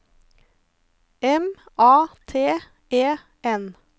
M A T E N